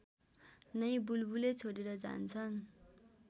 नै बुलबुले छोडेर जान्छन्